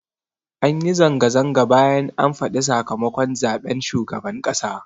Anyi zanga-zanga bayan an faɗa sakamakon zaɓen shugaban ƙasa